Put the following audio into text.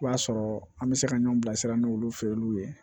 O b'a sɔrɔ an bɛ se ka ɲɔn bilasira ni olu fɛ ye olu ye